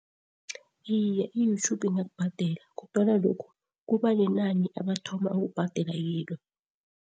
Iye, i-Youtube ingakubhadela kodwana lokhu kubanenani abathoma ukubhadela kilo.